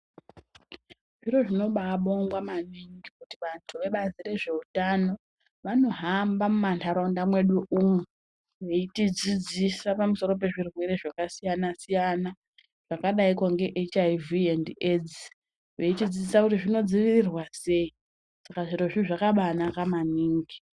Zviro zvinobaa bongwa maningi kuti vanhu vebazi rezveutano vanohamba muma nharaunda mwedu umu veiti dzidzisa pamusoro pezvirwere zvakasiyana siyana, zvakadaiko ngeHIV and AIDS, veitidzidzisa kuti zvinodzivirirwa sei, saka zvirozvo zvakabaa naka maningi.